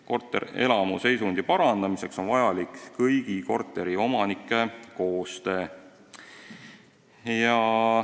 Korterelamu seisundi parandamiseks on vajalik kõigi korteriomanike koostöö.